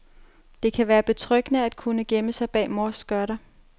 Det kan være betryggende at kunne gemme sig bag sin mors skørter.